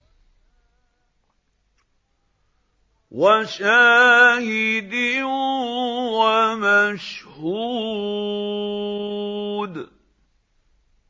وَشَاهِدٍ وَمَشْهُودٍ